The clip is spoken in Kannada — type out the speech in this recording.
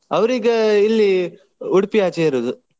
ಅವರೀಗ ಇಲ್ಲಿ Udupi ಆಚೆ ಇರುದು.